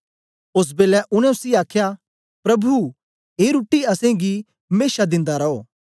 ओस बेलै उनै उसी आखया प्रभु ऐ रुट्टी असेंगी मेशा दिंदा रो